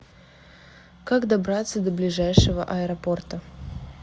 как добраться до ближайшего аэропорта